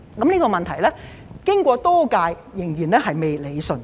這個問題經過多屆政府仍然未得以理順。